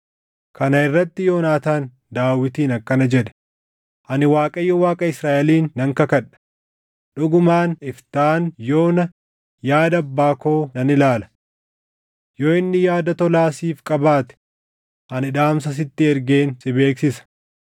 Kana irratti Yoonaataan Daawitiin akkana jedhe; “Ani Waaqayyo Waaqa Israaʼeliin nan kakadha; dhugumaan iftaan yoona yaada abbaa koo nan ilaala! Yoo inni yaada tolaa siif qabaate ani dhaamsa sitti ergeen si beeksisa.